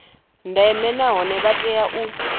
ndeme nahone vha tea u